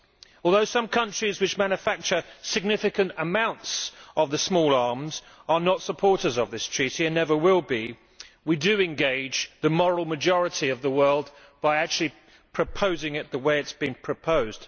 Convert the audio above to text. Although some countries which manufacture significant amounts of small arms are not supporters of this Treaty and never will be, we do engage the moral majority of the world by actually proposing it in the way it has been proposed.